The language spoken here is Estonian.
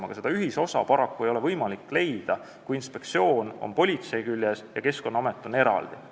Aga seda ühisosa ei ole paraku võimalik leida, kui inspektsioon kuulub politsei juurde ja Keskkonnaamet on eraldi.